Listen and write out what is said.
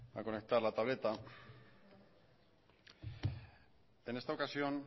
a conectar la tableta en esta ocasión